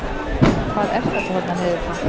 Hvað er þetta þarna niður frá?